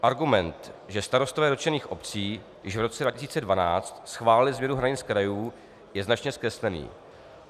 Argument, že starostové dotčených obcí již v roce 2012 schválili změnu hranic krajů, je značně zkreslený.